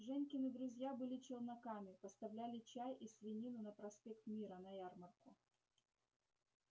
женькины друзья были челноками поставляли чай и свинину на проспект мира на ярмарку